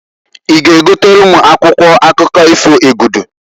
I g'egotalu m akwụkwọ akụkọ ifo Egudu?